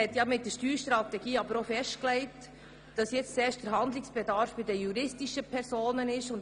Mit der Steuerstrategie wurde aber auch festgelegt, dass der Handlungsbedarf zuerst bei den juristischen Personen besteht.